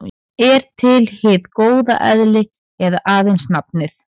Er til hið góða eðli eða aðeins nafnið?